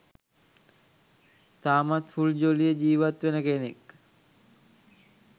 තාමත් ෆුල් ජොලියේ ජීවත් වෙන කෙනෙක්.